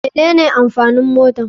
Mene ne amfanin motar.